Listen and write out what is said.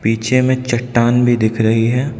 पीछे में चट्टान भी दिख रही है।